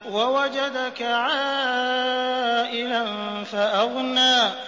وَوَجَدَكَ عَائِلًا فَأَغْنَىٰ